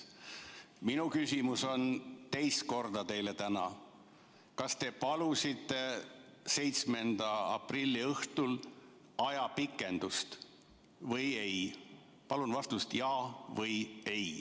Ma küsin teilt täna teist korda: kas te palusite 7. aprilli õhtul ajapikendust või ei+ Palun vastake jaa või ei.